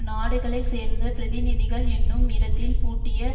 நாடுகளை சேர்ந்த பிரதிநிகள் என்னும் இடத்தில் பூட்டிய